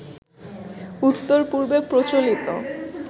উত্তর পূর্বে প্রচলিত